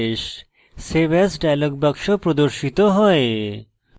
save as dialog box প্রদর্শিত হয়